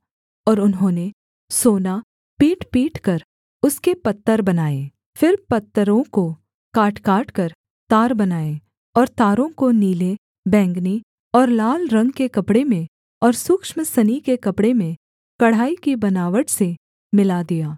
और उन्होंने सोना पीटपीट कर उसके पत्तर बनाए फिर पत्तरों को काटकाटकर तार बनाए और तारों को नीले बैंगनी और लाल रंग के कपड़े में और सूक्ष्म सनी के कपड़े में कढ़ाई की बनावट से मिला दिया